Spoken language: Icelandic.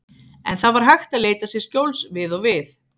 En það var hægt að leita sér skjóls við og við.